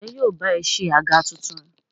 Ǹjẹ́ yóò ba ẹ se àga tuntun?